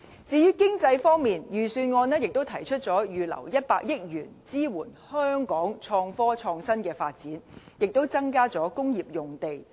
至於經濟方面，預算案也提出預留100億元，支援香港創科、創新的發展，並增加工業用地。